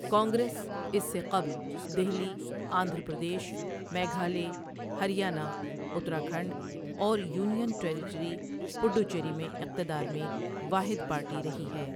کانگریس اس سے قبل دہلی، آندھرا پردیش، میگھالیہ، ہریانہ، اتراکھنڈ، اور یونین ٹیریٹری پڈوچیری میں اقتدار میں واحد پارٹی رہی ہے۔